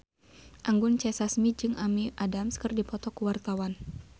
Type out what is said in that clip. Anggun C. Sasmi jeung Amy Adams keur dipoto ku wartawan